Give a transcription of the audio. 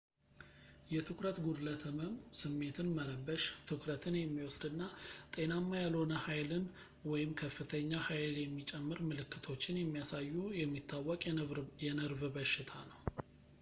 የትኩረት ጉድለት ህመም ስሜትን መረበሽ ትኩረትን የሚወስድ እና ጤናማ ያልሆነ ኃይልን ወይም ከፍተኛ ኃይል የሚጨምር ምልክቶችን የሚያሳዩ የሚታወቅ የነርቭ በሽታ ነው